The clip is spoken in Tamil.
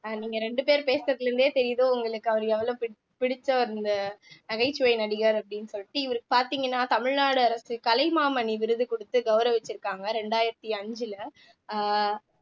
அஹ் நீங்க ரெண்டு பேர் பேசறதுல இருந்தே தெரியுது உங்களுக்கு அவரு எவ்வளவு பிடி பிடிச்ச அந்த நகைச்சுவை நடிகர் அப்படீன்னு சொல்லிட்டு இவர் பார்த்தீங்கன்னா தமிழ்நாடு அரசு கலைமாமணி விருது கொடுத்து கௌரவிச்சிருக்காங்க இரண்டாயிரத்தி அஞ்சுல அஹ்